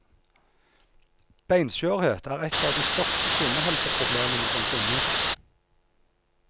Beinskjørhet er en av de største kvinnehelseproblemene som finnes.